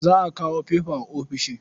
Za a kawo fefa a ofishin.